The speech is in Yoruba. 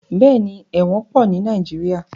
Bẹ́ẹ̀ni, ẹ̀wọ̀n pọ̀ ní Nàìjíríà.